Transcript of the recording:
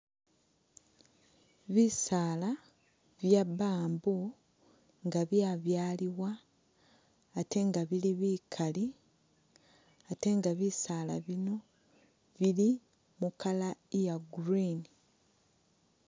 Bisaala bya bamboo nga byabyalibwa ate nga bili bikali, ate nga bisaala bino mu colour iya green